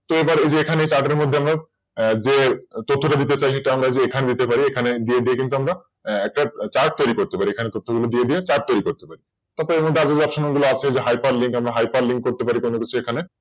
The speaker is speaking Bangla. So এবার আমরা তাদের মধ্যে আমরা যে তথ্যটা লিখে যে আমরা এখানে নিতে পারি এখানে দিয়ে তো আমরা একটা Chart তৈরি করতে পারি। মানে তথ্য গুলো দিয়ে দিয়ে Chartchart তৈরি করতে পারি তারপর এখানে আরো Option গুলো আছে Hyperlink করতে পারি কোন কিছু সেখানে